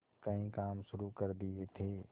कई काम शुरू कर दिए थे